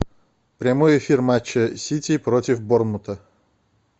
прямой эфир матча сити против борнмута